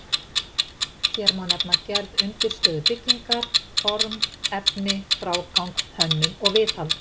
Hér má nefna gerð undirstöðu byggingar, form, efni, frágang, hönnun og viðhald.